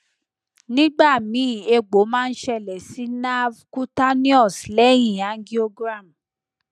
nigbami egbo ma n sele si nerve cutaneous lehin angiogram